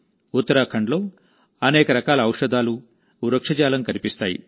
ఉత్తరాఖండ్లో అనేక రకాల ఔషధాలు వృక్షజాలం కనిపిస్తాయి